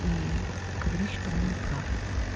и говорить что он не прав